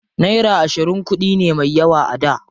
Naira ashirin kuɗi ne me yawa a da.